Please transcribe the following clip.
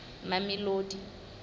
mamelodi